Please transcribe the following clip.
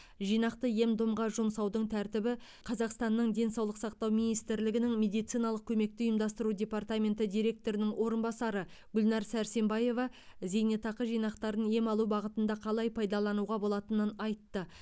жинақты ем домға жұмсаудың тәртібі қазақстанның денсаулық сақтау министрлігінің медициналық көмекті ұйымдастыру департаменті директорының орынбасары гүлнар сәрсенбаева зейнетақы жинақтарын ем алу бағытында қалай пайдалануға болатынын айтты